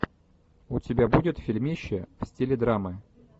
у тебя будет фильмище в стиле драмы